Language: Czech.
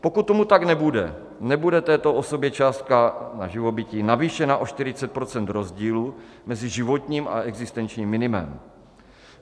Pokud tomu tak nebude, nebude této osobě částka na živobytí navýšena o 40 % rozdílu mezi životním a existenčním minimem.